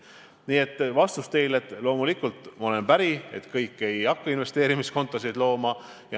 Nii et vastus teile on: loomulikult ma olen päri, et kõik ei hakka investeerimiskontosid looma.